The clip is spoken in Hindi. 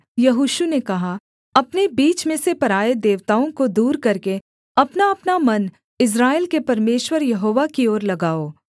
यहोशू ने कहा अपने बीच में से पराए देवताओं को दूर करके अपनाअपना मन इस्राएल के परमेश्वर यहोवा की ओर लगाओ